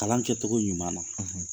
Kalan kɛcogo ɲuman na,